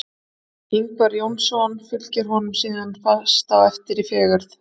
Ingvar Jónsson fylgir honum síðan fast á eftir í fegurð.